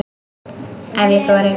Ef ég þori.